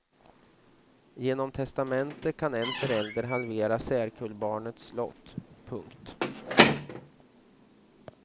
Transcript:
Genom testamente kan en förälder halvera särkullbarnets lott. punkt